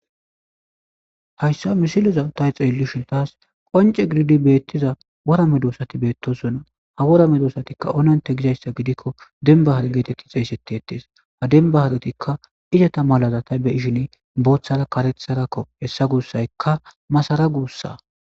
hayssa misiloza ta xeellishun taas qonce giriidi beettiza worame doosati beettosuna ha worame doosatikka ononte gizayssa gidikko denbahar geetetti xesetti ettees ha denbaharetikka icata malaza ta be ishine booththara karetharakko hessa guussaykka masara guussa